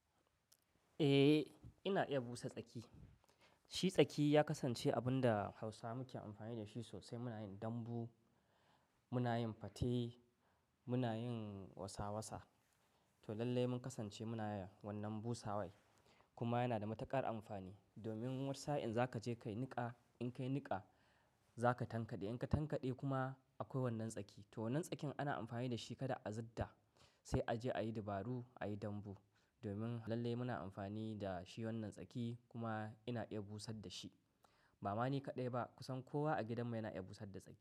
Eh, ina iya busa tsaki. Shi tsaki ya kasance abun da Hausa muke amfani da shi sosai muna yin dambu, muna yin fate, muna yin wasa wasa. To lallai mun kasance muna yin wannan busa wai kuma yana da matuƙar amfani. Domin wasa in za ka je ka yi niƙa, in ka yi niƙa za ka tankade, in ka tankade kuma akwai wannan tsaki. To wannan tsakin ana amfani dashi kada a zudda sai aje ayi dubaru ayi dambu domin lallai muna amfani da shi wannan tsaki kuma ina iya busar da shi. Ba mani kaɗai ba kusan kowa a gidanmu yana iya busar da tsaki.